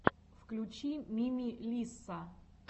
включи мими лисса